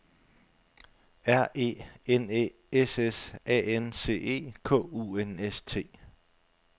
R E N Æ S S A N C E K U N S T